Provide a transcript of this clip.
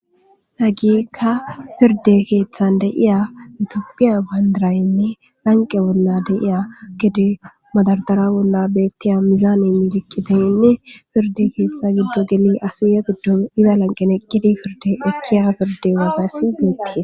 Hagiikka pirde keeththan deiya mitoopphiya bandaraynne lanqe bolla deiya gede madardara bolla bettiya mizaane miliqqiteyenne pirde keeththa giddo geli asiya giddo ida lanqeneqqidi pirde ekkiya pirde waasassi miittees.